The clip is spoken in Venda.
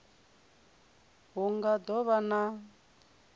hu nga do vha na